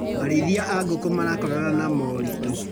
Arĩithia a ngũkũ marakorana na moritũ.